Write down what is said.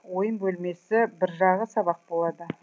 ойын бөлмесі бір жағы сабақ болады